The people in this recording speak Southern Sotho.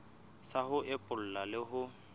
sa ho epolla le ho